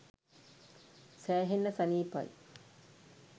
සෑහෙන්න සනිපයි.